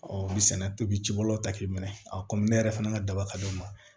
o bɛ sɛnɛ pewu ci bolo ta k'i minɛ a kɔmi ne yɛrɛ fana ka daba ka d'o ma